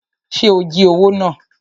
Ṣe o jí owó náà?